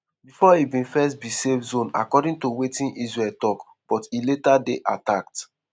bifor e bin first be safe zone according to wetin israel tok but e later dey attacked.